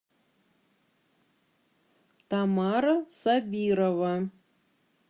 тамара сабирова